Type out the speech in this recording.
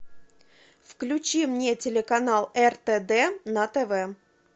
включи мне телеканал ртд на тв